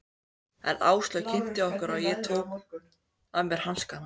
En Áslaug kynnti okkur og ég tók af mér hanskana.